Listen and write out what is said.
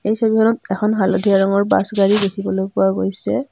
এই ছবিখনত এখন হালধীয়া ৰঙৰ বাছ গাড়ী দেখিবলৈ পোৱা গৈছে।